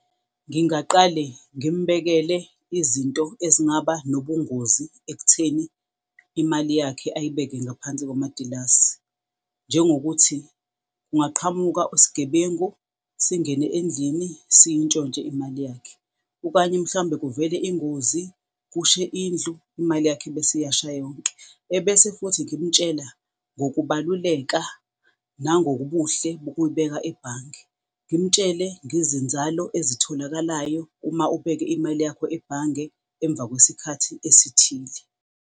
Ngingaqale ngimbekele izinto ezingaba nobungozi ekutheni imali yakhe ayibeke ngaphansi komatilasi, njengokuthi kungaqhamuka isigebengu singene endlini, siyintshontshe imali yakhe, okanye mhlawumbe kuvele ingozi, kushe indlu imali yakhe bese iyasha yonke. Ebese futhi ngimtshela ngokubaluleka nangokubuhle bokuyibeka ebhange. Ngimtshele ngezinzalo ezitholakalayo uma ubeke imali yakho ebhange emva kwesikhathi esithile.